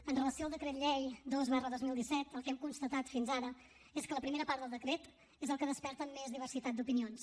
amb relació al decret llei dos dos mil disset el que hem constatat fins ara és que la primera part del decret és el que desperta més diversitat d’opinions